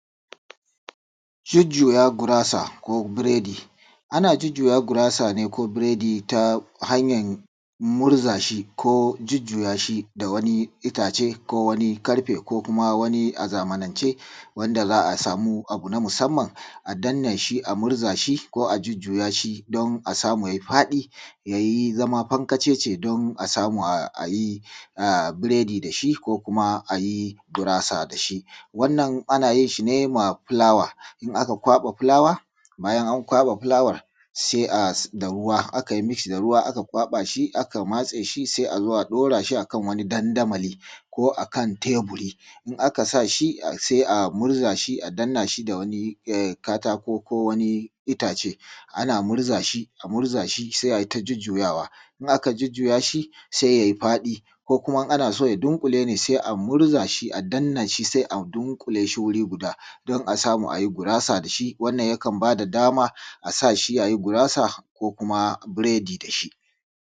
Jujjuya gurasa ko buredi ana jujjuya gurasa ko buredi ta hanyar gurza shi jujjuya da wani itace ko wani ƙarfe ko kuma wani zamanance da za a samu wani abu na musamman da za a danna shi ko a jujjuya shi don a samu ya yi faɗi ya zama fankacece don a yi buredi da shi ko a yi gurasa da shi. Wannan ana yin shi ne da fulawa, bayan an kwaɓa fulawar da ruwa sai a matse shi sai ka kwaɓa shi sai a matse shi sai ka zo a ɗaura shi a kan wani dandamali ko akan teburi idan aka sani sai a zo a murza shi sai a danna shi da ko katako ko wani itace ana murza shi sai a yi ta jujjuyawa. Idan aka jujjuya shi sai ya yi faɗi ko kuma in ana so ya dunƙule ne sai a turza shi ko a danna shi don ya dunƙule wuri guda don a samu ai gurasa da shi, wannan yakan ba da dama a sa shi a yi gurasa da shi ko kuma buredi.